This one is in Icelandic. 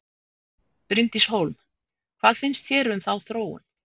Bryndís Hólm: Hvað finnst þér um þá þróun?